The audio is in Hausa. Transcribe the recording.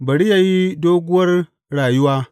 Bari yă yi doguwar rayuwa!